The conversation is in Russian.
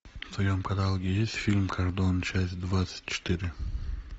в твоем каталоге есть фильм кардон часть двадцать четыре